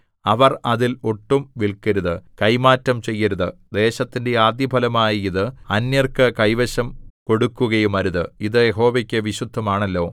അവർ അതിൽ ഒട്ടും വില്‍ക്കരുത് കൈമാറ്റം ചെയ്യരുത് ദേശത്തിന്റെ ആദ്യഫലമായ ഇത് അന്യർക്ക് കൈവശം കൊടുക്കുകയുമരുത് അത് യഹോവയ്ക്കു വിശുദ്ധമാണല്ലോ